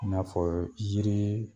I n'a fɔɔ jirii